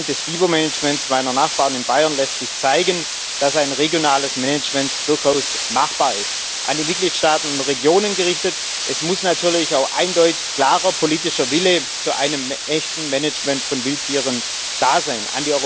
Anhand des Bibermanagements meiner Nachbarn in Bayern lässt sich zeigen, dass ein regionales Management durchaus machbar ist. An die Mitgliedstaaten und die Regionen gerichtet Es muss natürlich auch eindeutig klarer politischer Wille zu einem echten Management von Wildtieren da sein.